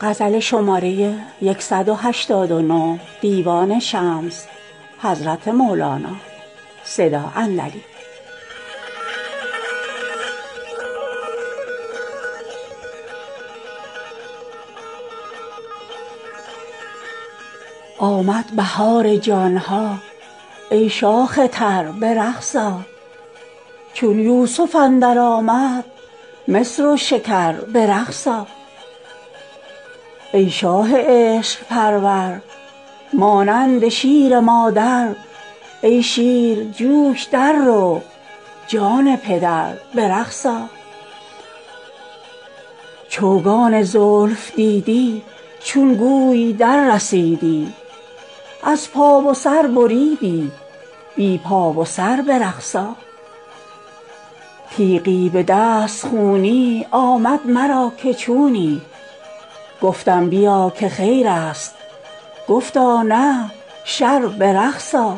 آمد بهار جان ها ای شاخ تر به رقص آ چون یوسف اندر آمد مصر و شکر به رقص آ ای شاه عشق پرور مانند شیر مادر ای شیر جو ش در رو جان پدر به رقص آ چوگان زلف دیدی چون گوی دررسیدی از پا و سر بریدی بی پا و سر به رقص آ تیغی به دست خونی آمد مرا که چونی گفتم بیا که خیر است گفتا نه شر به رقص آ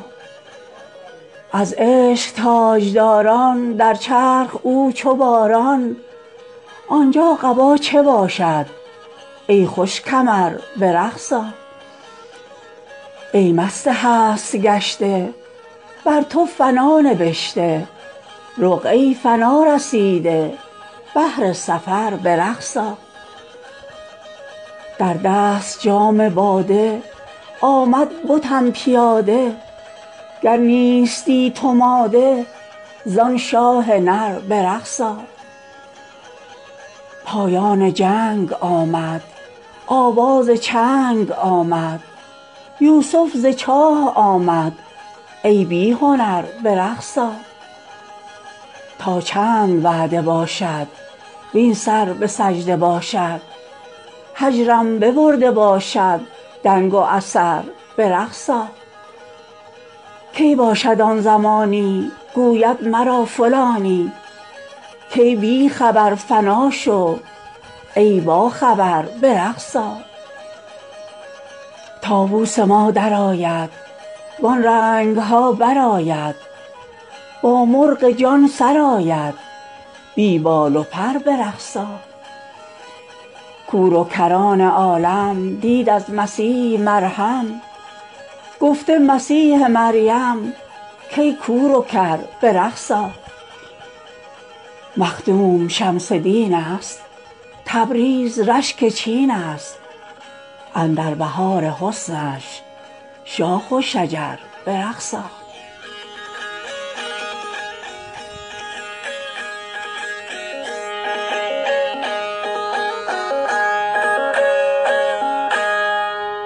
از عشق تاج داران در چرخ او چو باران آن جا قبا چه باشد ای خوش کمر به رقص آ ای مست هست گشته بر تو فنا نبشته رقعه ی فنا رسیده بهر سفر به رقص آ در دست جام باده آمد بتم پیاده گر نیستی تو ماده ز آن شاه نر به رقص آ پایان جنگ آمد آواز چنگ آمد یوسف ز چاه آمد ای بی هنر به رقص آ تا چند وعده باشد وین سر به سجده باشد هجرم ببرده باشد دنگ و اثر به رقص آ کی باشد آن زمانی گوید مرا فلانی کای بی خبر فنا شو ای باخبر به رقص آ طاووس ما در آید وان رنگ ها برآید با مرغ جان سراید بی بال و پر به رقص آ کور و کران عالم دید از مسیح مرهم گفته مسیح مریم کای کور و کر به رقص آ مخدوم شمس دین است تبریز رشک چین ا ست اندر بهار حسنش شاخ و شجر به رقص آ